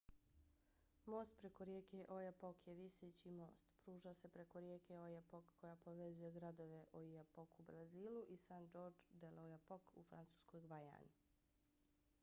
most preko rijeke oyapock je viseći most. pruža se preko rijeke oyapock koja povezuje gradove oiapoque u brazilu i saint-georges de l'oyjapock u francuskoj gvajani